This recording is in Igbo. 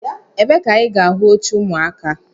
Ebee ka anyị ga ahụ oche ụmụaka?